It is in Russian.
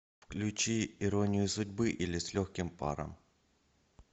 включи иронию судьбы или с легким паром